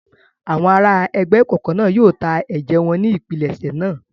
Àwọn ará ẹgbẹ́ ìkọ̀kọ̀ náà yóò ta ẹ̀jẹ̀ wọn ní ìpilẹ̀ṣẹ̀ náà.